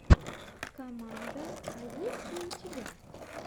команда а есть ли у тебя